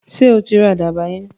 Sọ tí ra àdàbà yẹn?